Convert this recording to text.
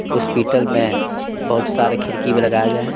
Hospital में बहुत सारे खिड़की भी लगाए गए हैं।